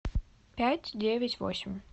пять девять восемь